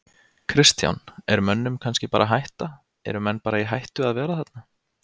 Kristján: Er mönnum kannski bara hætta, eru menn bara í hættu að vera þarna?